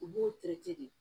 U b'u de